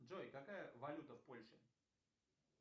джой какая валюта в польше